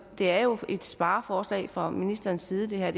er jo et spareforslag fra ministerens side det er